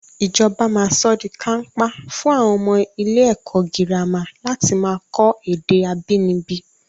Ìjọba máa sọ́ di kàńpá fún àwọn ọmọ ilé ẹ̀kọ́ girama láti máa kọ́ èdè abínibí